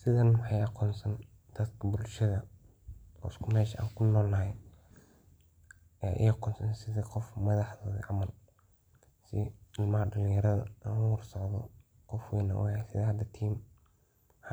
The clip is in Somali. Sidhan waxan aqonsan dadka bulshada oo isku mel kunol nahay oo madax ah .Oo mel shaqo camal u tagen sas ayan u arka. Madax da dadka ayaga